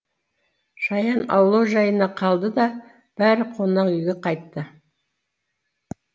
шаян аулау жайына қалды да бәрі қонақ үйге қайтты